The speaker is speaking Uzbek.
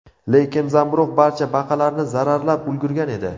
Lekin zamburug‘ barcha baqalarni zararlab ulgurgan edi.